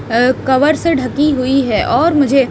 अ cover से ढकी हुई है और मुझे --